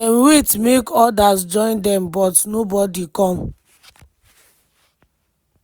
dem wait make odas join dem but nobodi come.